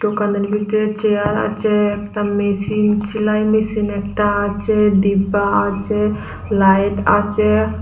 দোকানের ভেতরে চেয়ার আছে একটা মেশিন সেলাই মেশিন একটা আছে ডিব্বা আছে লাইট আছে।